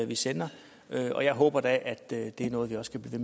vi sender og jeg håber da at det er noget vi også kan blive